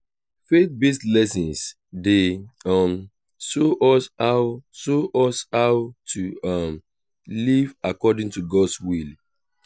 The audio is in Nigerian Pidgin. faith-based lessons dey um show us how show us how to um live according to god’s will.